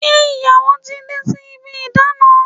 Ṣe ìyàwó ti dé sí ibi ìdána?